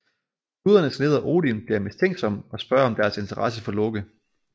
Gudernes leder Odin bliver mistænksom og spørger om deres interesse for Loke